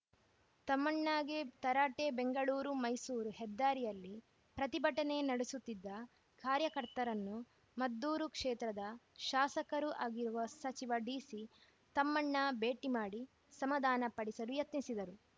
ತಮ್ಮಣ್ಣಗೆ ತರಾಟೆ ಬೆಂಗಳೂರು ಮೈಸೂರು ಹೆದ್ದಾರಿಯಲ್ಲಿ ಪ್ರತಿಭಟನೆ ನಡೆಸುತ್ತಿದ್ದ ಕಾರ್ಯಕರ್ತರನ್ನು ಮದ್ದೂರು ಕ್ಷೇತ್ರದ ಶಾಸಕರೂ ಆಗಿರುವ ಸಚಿವ ಡಿಸಿ ತಮ್ಮಣ್ಣ ಭೇಟಿ ಮಾಡಿ ಸಮಾಧಾನಪಡಿಸಲು ಯತ್ನಿಸಿದರು